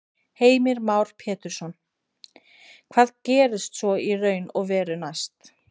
Heimir Már Pétursson: Hvað gerist svo í raun og veru næst?